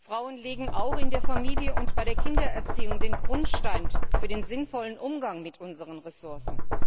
Frauen legen auch in der Familie und bei der Kindererziehung den Grundstein für den sinnvollen Umgang mit unseren Ressourcen.